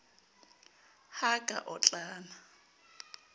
ha a ka a otlana